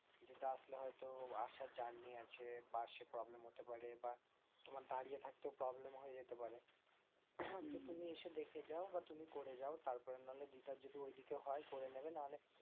দিদা আসলে হয়তো আসার journey আছে বসে problem হতে পারে বা তোমার দাঁড়িয়ে থাকতেও problem হয়ে যেতে পারে হম উম তো তুমি এসে দেখে যাও বা তুমি করে যাও তারপরে নাহলে দিদার যদি ঐদিকে হয় করে নেবে নাহলে